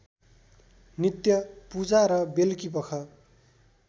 नित्य पूजा र बेलुकीपख